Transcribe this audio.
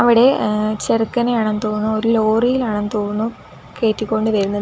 ഇവിടെ ഏഹ് ചെറുക്കനെ ആണെന്ന് തോന്നുന്നു ഒരു ലോറിയിൽ ആണെന്ന് തോന്നുന്നു കേറ്റിക്കോണ്ട് വരുന്നത്.